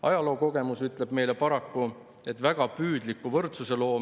Ma olen siin kõnepuldis ennekõike laste pärast, iseenda laste, aga ka paljude teiste laste pärast, sest mul on mure.